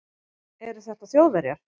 Eru þetta Þjóðverjar?